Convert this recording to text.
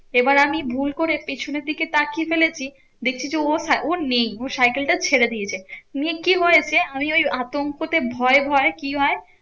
এবার আমি ভুল করে পেছনের দিকে তাকিয়ে ফেলেছি দেখছি যে, ও ও নেই ও সাইকেল টা ছেড়ে দিয়েছে। নিয়ে কি হয়েছে? আমি ওই আতঙ্ক তে ভয় ভয় কি হয়?